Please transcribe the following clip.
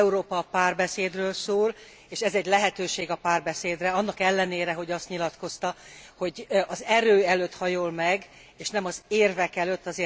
Európa a párbeszédről szól, és ez egy lehetőség a párbeszédre, annak ellenére, hogy azt nyilatkozta, hogy az erő előtt hajol meg és nem az érvek előtt.